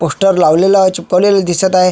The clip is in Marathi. पोस्टर लावलेले आहे चिपकवलेले दिसत आहे.